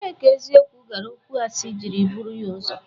Ebee ka eziokwu gara okwuasi jiri buru ya ụzọ?